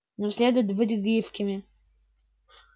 нам следует быть гибкими